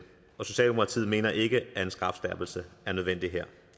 og socialdemokratiet mener ikke at en strafskærpelse er nødvendig her